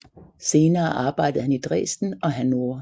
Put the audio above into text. Senere arbejdede han i Dresden og Hannover